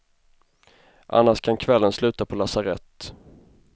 Annars kan kvällen sluta på lasarett.